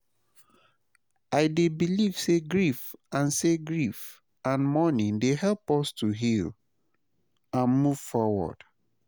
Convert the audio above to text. i dey believe say grief and say grief and mourning dey help us to heal and move forward.